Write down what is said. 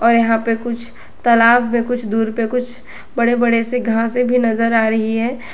और यहां पे कुछ तलाब में कुछ दूर पर कुछ बड़े बड़े से घासे भी नजर आ रही है।